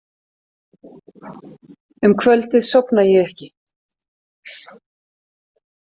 Um kvöldið sofna ég ekki.